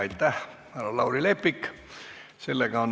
Aitäh, härra Lauri Leppik!